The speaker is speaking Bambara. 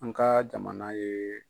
An ka jamana ye.